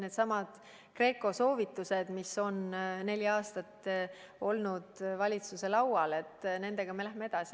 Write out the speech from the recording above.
Needsamad GRECO soovitused, mis on neli aastat olnud valitsuse laual – nendega me läheme edasi.